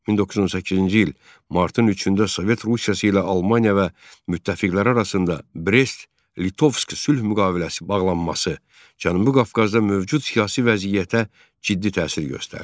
1918-ci il martın 3-də Sovet Rusiyası ilə Almaniya və müttəfiqlər arasında Brest-Litovsk sülh müqaviləsi bağlanması Cənubi Qafqazda mövcud siyasi vəziyyətə ciddi təsir göstərdi.